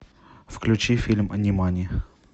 включи фильм нимани